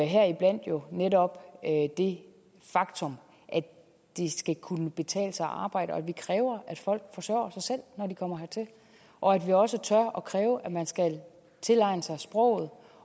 heriblandt jo netop det faktum at det skal kunne betale sig at arbejde at vi kræver at folk forsørger sig selv når de kommer hertil og at vi også tør at kræve at man skal tilegne sig sproget